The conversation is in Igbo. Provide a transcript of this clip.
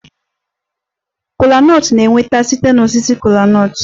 Kola nut na-enweta site na osisi kola nut